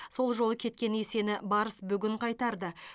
сол жолы кеткен есені барыс бүгін қайтарды